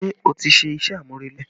Ṣé o ti ṣe iṣẹ́ amurele rẹ